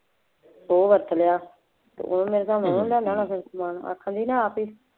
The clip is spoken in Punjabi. ਸੌ ਵਰਤ ਲਿਆ, ਉਹਨੂੰ ਮੇਰੇ ਹਿਸਾਬ ਨਾਲ ਉਹਨੇ ਲਿਆਂਦਾ ਹੋਣਾ ਫੇਰ ਸਮਾਨ ਆਖਣਗੇ ਨਾ ਆਪ ਹੀ